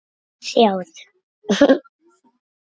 Sjáðu